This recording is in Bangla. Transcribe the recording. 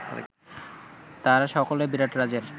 তাঁহারা সকলে বিরাটরাজের